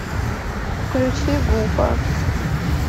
включи гуфа